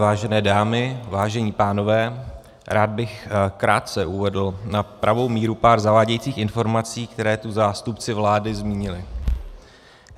Vážené dámy, vážení pánové, rád bych krátce uvedl na pravou míru pár zavádějících informací, které tu zástupci vlády zmínili.